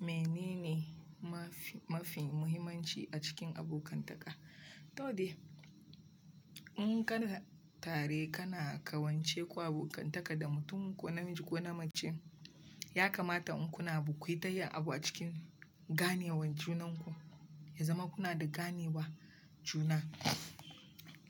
Menene mafi, mafi muhimmanci a cikin abokantaka? To dai, in kana tare kana ƙawance ku abokantaka da mutum ko namiji ko na mace, ya kamata in kuna abu kuytayin abu a cikin ganewan junan ku, ya zama kuna da ganewa juna.